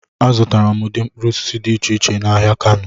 Azụtara m ụdị mkpụrụ osisi dị iche iche n'ahịa Kano.